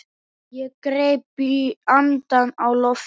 Ég greip andann á lofti.